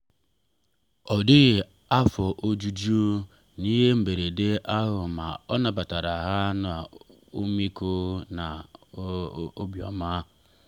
ọ dịghị afọ ojuju n’ihe mberede ahụ ma o nabatara ha n’ọmịiko na obiọma.